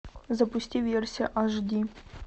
запусти версия аш ди